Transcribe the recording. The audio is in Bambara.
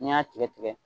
N'i y'a tigɛ tigɛ